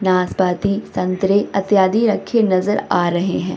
नाशपाती संतरे अत्यादि रखे नजर आ रहे है।